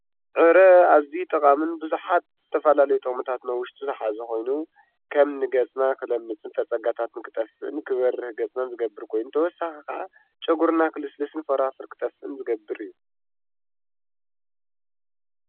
ዕረ ኣዝዩ ጠቃሚን ብዙሓት ዝተፈላለዩ ጥቅምታት ኣብ ውሽጡ ዝሓዘ ኮይኑ ከም ንገፅና ክለምፅን ፣ፈፀጋታት ክጠፍእን ፣ክበርህ ገፅናን ዝገብር ኮይኑ ተወሳኺ ከዓ ጨጉርና ክልስልስን ፎረፎር ክጠፍእን ዝገብር እዩ።